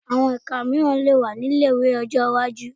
Àwọn ẹka mìíràn tún lè wà ní ilé-ìwé ní ọjọ́ iwájú